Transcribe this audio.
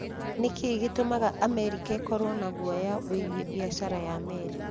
Nĩ kĩĩ gĩtũmaga Amerika ĩkorũo na guoya wĩgiĩ biacara ya meri?